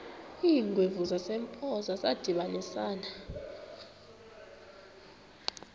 iingwevu zasempoza zadibanisana